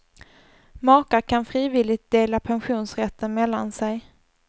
Makar kan frivilligt dela pensionsrätten mellan sig.